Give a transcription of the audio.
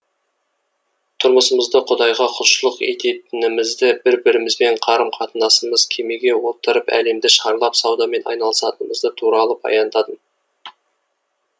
тұрмысымызды құдайға құлшылық ететінімізді бір бірімізбен қарым қатынасымыз кемеге отырып әлемді шарлап саудамен айналысатынымыз туралы да баяндадым